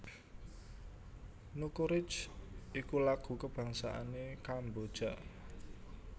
Nokoreach iku lagu kabangsané Kamboja